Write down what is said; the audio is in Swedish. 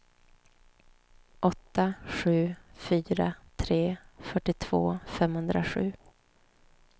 åtta sju fyra tre fyrtiotvå femhundrasju